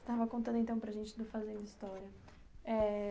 Você estava contando então para a gente do Fazendo História. É...